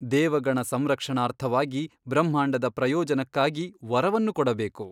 ದೇವಗಣ ಸಂರಕ್ಷಣಾರ್ಥವಾಗಿ ಬ್ರಹ್ಮಾಂಡದ ಪ್ರಯೋಜನಕ್ಕಾಗಿ ವರವನ್ನು ಕೊಡಬೇಕು.